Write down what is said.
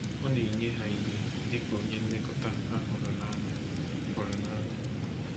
Ọ na-enye ha ihe dị ka onye nlekọta ha hụrụ n’anya. hụrụ n’anya.